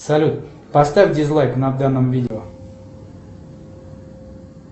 салют поставь дизлайк на данном видео